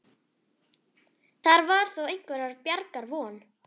Þar var þó einhverrar bjargar von.